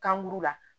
Kankuru la